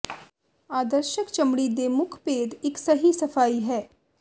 ਆਦਰਸ਼ਕ ਚਮੜੀ ਦੇ ਮੁੱਖ ਭੇਦ ਇਕ ਸਹੀ ਸਫਾਈ ਹੈ